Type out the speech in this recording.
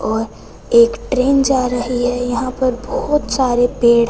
और एक ट्रेन जा रही है यहां पर बहोत सारे पेड़--